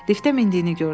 Liftə mindiyini gördüm.